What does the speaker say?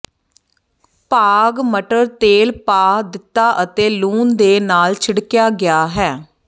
ਭਾਗ ਮਟਰ ਤੇਲ ਪਾ ਦਿੱਤਾ ਅਤੇ ਲੂਣ ਦੇ ਨਾਲ ਛਿੜਕਿਆ ਗਿਆ ਹੈ